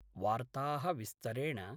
वार्ताः विस्तरेण